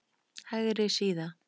Hægri síða